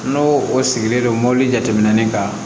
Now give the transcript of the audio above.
N'o o sigilen don mobili jateminɛ ni kan